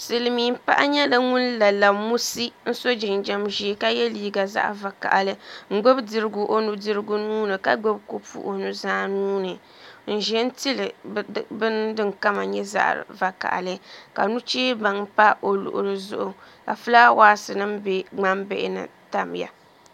Siliimiin Paɣi nyɛ ŋun la lamusi n so jinjam ʒee ka ye liiga zaɣi vakahili gbubi dirigu o nu dirigu nuuni ka gbubi kopu o nu zaa nuuni n ʒɛntili bin din kama nyɛ zaɣi vakahili ka nuchee baŋ pa o luɣuli zuɣu ka fulaawaasi bɛ ŋman bihini n tamya